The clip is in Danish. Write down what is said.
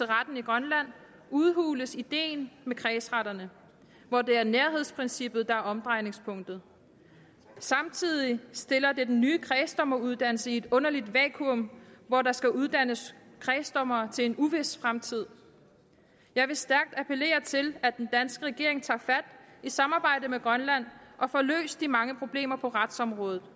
retten i grønland udhules ideen med kredsretterne hvor det er nærhedsprincippet der er omdrejningspunktet samtidig stiller det den nye kredsdommeruddannelse i et underligt vakuum hvor der skal uddannes kredsdommere til en uvis fremtid jeg vil stærkt appellere til at den danske regering i samarbejde med grønland tager og får løst de mange problemer på retsområdet